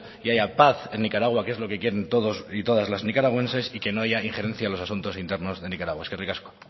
y haya paz en nicaragua que es lo que quieren todos y todas las nicaragüenses y que no haya injerencias en los asuntos internos en nicaragua eskerrik asko